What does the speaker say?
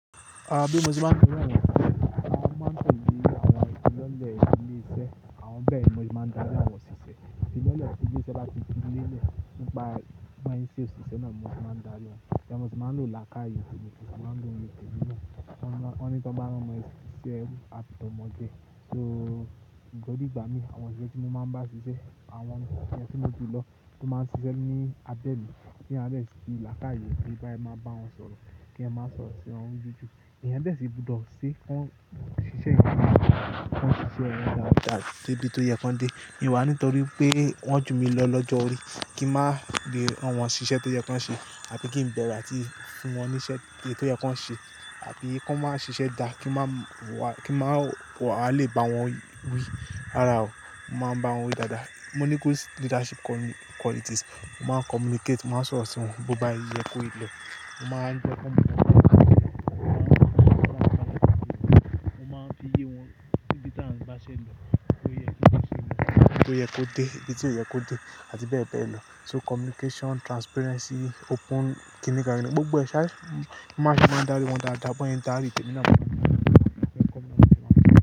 Àbí Mùsùlùmí ọ̀ga mi. A máa ń tòde àwọn ètò lọ́lẹ̀ ilé iṣẹ́, àwọn bẹ́ẹ̀ Mùsùlùmí máa ń darí àwọn òṣìṣẹ́. Ifilọ́lẹ̀ tí ilé iṣẹ́ bá ti filẹ̀le nípa báa ń ṣe se òṣìṣẹ́ náa mo se maa ń darí wọn. Mo sì máa ń lò làákàyè temi, mo sì máa ń lo ìye temí naa. Wọ́n ní tó bá ránmọ ṣísẹ́ eru àfi tọmọ jé. So, ntori igba mi, awon osise ti mo maa n ba sise, awon eni ti mo ju lo lo maa n sise ni abe mi, teeyan o ba de fi laakai gbe bo se maa bawon soro, keeyan maa soro siwon. Ìyẹn dẹ̀ sì gbọ́dọ̀ ṣe kí wọ́n ṣiṣẹ́ ìyàrá, kí wọ́n ṣiṣẹ́ ẹni tó dáa, tó yẹ kí wọ́n dé. In wà ní torípé wọ́n ju mi lọ lọ́jọ́ orí kí n máa lé rànwọn ṣiṣẹ́ tó yẹ kí wọ́n ṣe àbi kí n bẹ̀rù àti fún wọn níṣẹ́ èyí tó yẹ kí wọ́n ṣe àbi kí wọ́n máa ṣiṣẹ́ dáa kí n maa wà lè bá wọn wí. Rárá o, mo máa ń báwọn wí dáadáa. Mo ní good leadership qualities. Mo máa ń communicate, màá sọ̀rọ̀ sí wọn. Bo bá yẹ kó ìlò, mo máa ń fi ọkàn mi dá a mọ́, mo máa ń fi ọ̀rọ̀ mi dá a mọ́, mo máa ń fi iye wọn ibí ta n bá ṣe ń lọ, bóyẹ́ kí ó ṣe, bóyẹ́ kó dé, ibi tí ó yẹ kó dé àti bẹ́ẹ̀ bẹ́ẹ̀ lọ. So communication, transparency, open, kíni káà ní gbogbo ẹ ṣa-- mo máa ń darí wọn dáadáa, bọ́n se n darí tẹ̀mí náà, mo máa ń darí ẹni tí wọn pè pé community manager.